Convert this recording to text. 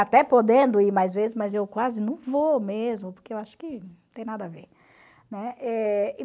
Até podendo ir mais vezes, mas eu quase não vou mesmo, porque eu acho que não tem nada a ver, né? Eh...